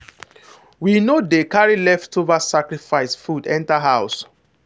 we no dey carry leftover sacrifice food enter house.